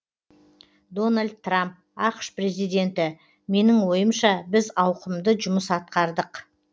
дональд трамп ақш президенті менің ойымша біз ауқымды жұмыс атқардық